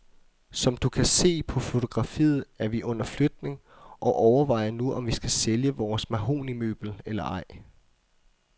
Som du kan se på fotografiet er vi under flytning, og overvejer nu om vi skal sælge vores mahognimøbel eller ej.